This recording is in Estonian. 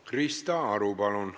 Krista Aru, palun!